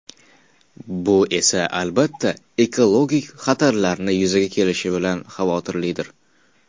Bu esa albatta ekologik xatarlarni yuzaga keltirishi bilan xavotirlidir.